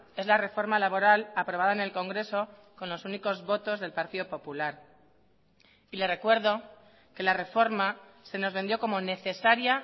es la reforma laboral aprobada en el congreso con los únicos votos del partido popular y le recuerdo que la reforma se nos vendió como necesaria